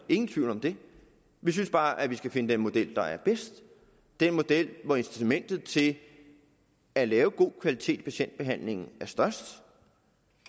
ingen tvivl om det vi synes bare at vi skal finde den model der er bedst den model hvor incitamentet til at lave god kvalitet i patientbehandlingen er størst